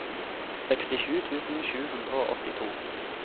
sekstisju tusen sju hundre og åttito